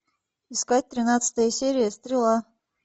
искать тринадцатая серия стрела